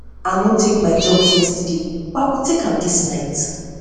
i no take my drug yesterday but i go try take am dis night am dis night